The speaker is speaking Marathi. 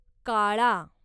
काळा